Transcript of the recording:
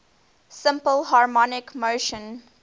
simple harmonic motion